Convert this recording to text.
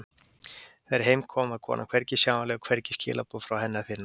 Þegar heim kom var konan hvergi sjáanleg og hvergi skilaboð frá henni að finna.